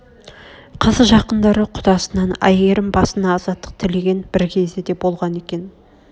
қыз жақындары құдасынан әйгерім басына азаттық тілеген бір кезі де болған екен